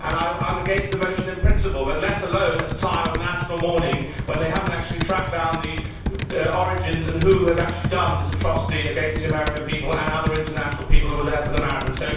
I am against the motion in principle, let alone at a time of national mourning when they have not actually tracked down the origins and who has actually done this atrocity against the American people and other nationalities who were there for the marathon.